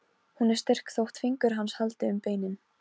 Hún er styrk þótt fingur hans haldi um beinin.